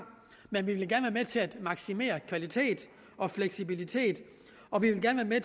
men vi ville gerne være med til at maksimere kvalitet og fleksibilitet og vi vil gerne være